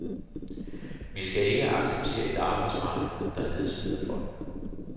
Vi skal ikke acceptere et arbejdsmarked, der nedslider folk.